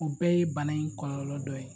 O bɛɛ ye bana in kɔlɔlɔ dɔ ye.